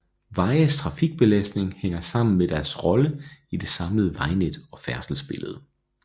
Vejes trafikbelastning hænger sammen med deres rolle i det samlede vejnet og færdselsbillede